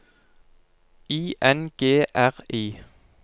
I N G R I